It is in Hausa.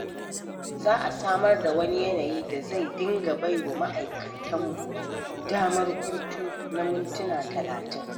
Za a samar da wani yanayi da zai dinga bai wa ma'aikata damar hutu na muntuna talatin.